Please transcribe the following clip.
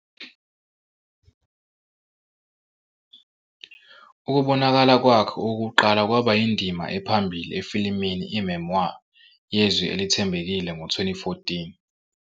Ukubonakala kwakhe okokuqala kwaba yindima ephambili "efilimini, iMemoir yeZwi Elithembekile" ngo-2014.